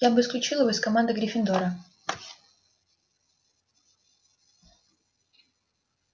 я бы исключил его из команды гриффиндора